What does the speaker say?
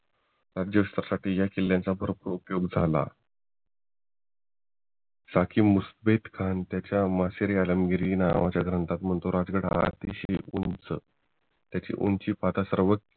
ह्या किल्ल्यांचा बरोबर उपयोग झाला सखी मुस्बेद्खन त्याच्या मर्चारी आलमगीर नावाच्या ग्रंथातून राजगड अतिश्यय उंच त्याची उंची